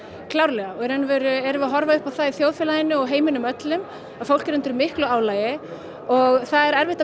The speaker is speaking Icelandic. klárlega og í raun erum við að horfa upp á það í þjóðfélaginu og heiminum öllum að fólk er undir miklu álagi og það er erfitt að